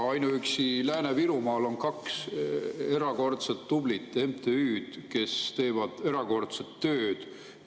Ainuüksi Lääne-Virumaal on kaks erakordselt tublit MTÜ-d, kes teevad erakordset tööd.